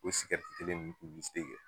O kelen nunnu kɛ